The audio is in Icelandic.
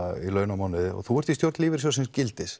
á mánuði þú ert í stjórn lífeyrissjóðsins gildis